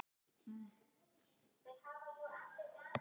Það var ólæst eins og venjulega.